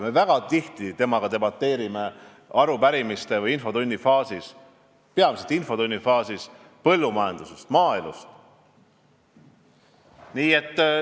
Me väga tihti temaga debateerime arupärimistele vastamisel või infotunnis, peamiselt infotunnis, põllumajanduse ja maaelu teemadel.